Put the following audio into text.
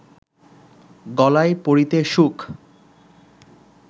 গলায় পরিতে সুখ